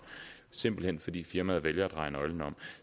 simpelt hen fordi firmaet vælger at dreje nøglen om